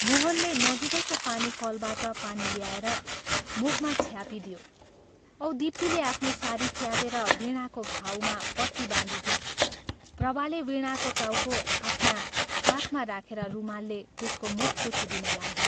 मोहनले नजीकैको पानी कलबाट पानी ल्याएर मुखमा छ्यापिदियो औं दीप्तिले आफ्नो सारी च्यातेर वीणाको घाउमा पट्टी बाँधिदिई प्रभाले वीणाको टाउको आफ्ना काखमा राखेर रुमालले त्यसको मुख पुछिदिन लागी।